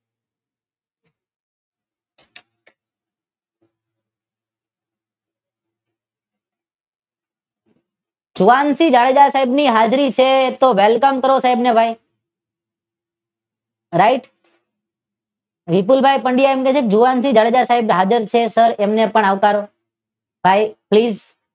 જુવાન શ્રી જાડેજા સાહેબ ની હાજરી છે તો વેલકમ કરો સાહેબ ને રાઇટ? વિપુલ ભાઈ પંડ્યા એમ કે છે કે જુવાન શ્રી જાડેજા સાહેબ હાજર છે તો તેને પણ આવકારો સાહેબ પ્લીઝ